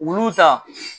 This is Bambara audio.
Olu ta